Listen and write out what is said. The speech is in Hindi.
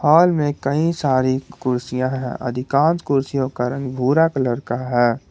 हॉल में कई सारी कुर्सियां हैं अधिकांश कुर्सियों का रंग भूरा कलर का है।